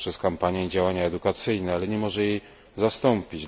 poprzez kampanie i działania edukacyjne, ale nie może jej zastąpić.